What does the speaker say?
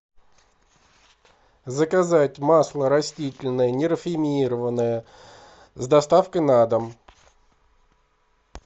заказать масло растительное нерафинированное с доставкой на дом